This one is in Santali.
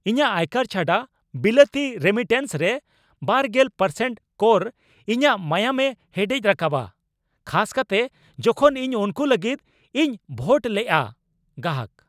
ᱤᱧᱟᱹᱜ ᱟᱭᱠᱟᱨ ᱪᱷᱟᱰᱟ ᱵᱤᱞᱟᱹᱛᱤ ᱨᱮᱢᱤᱴᱮᱱᱥ ᱨᱮ ᱒0% ᱠᱚᱨ ᱤᱧᱟᱜ ᱢᱟᱭᱟᱢᱮ ᱦᱮᱰᱮᱡ ᱨᱟᱠᱟᱵᱟ, ᱠᱷᱟᱥ ᱠᱟᱛᱮ ᱡᱚᱠᱷᱚᱱ ᱤᱧ ᱩᱱᱠᱩ ᱞᱟᱹᱜᱤᱫ ᱤᱧ ᱵᱷᱚᱴ ᱞᱮᱜᱼᱟ ᱾ (ᱜᱟᱦᱟᱠ)